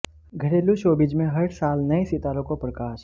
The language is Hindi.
घरेलू शोबिज़ में हर साल नए सितारों को प्रकाश